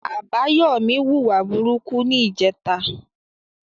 Abayomi wù wà búburú ní ìje tà.